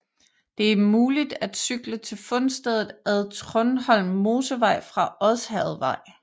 Det er muligt at cykle til fundstedet ad Trundholm Mosevej fra Odsherredvej